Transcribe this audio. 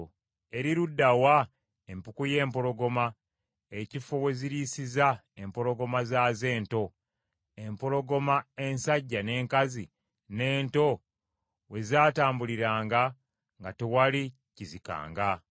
Eri ludda wa empuku y’empologoma, ekifo we ziriisiza empologoma zaazo ento, empologoma ensajja, n’enkazi, n’ento we zaatambuliranga nga tewali kizikanga?